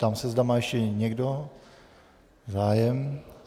Ptám se, zda má ještě někdo zájem.